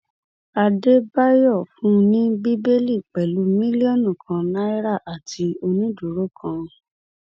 àdàbàyò fún un ní bẹẹlí pẹlú mílíọnù kan náírà àti onídùúró kan